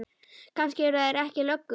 Kannski eru þeir ekki löggur.